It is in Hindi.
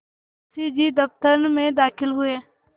मुंशी जी दफ्तर में दाखिल हुए